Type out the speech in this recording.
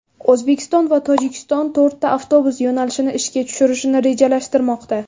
O‘zbekiston va Tojikiston to‘rtta avtobus yo‘nalishini ishga tushirishni rejalashtirmoqda.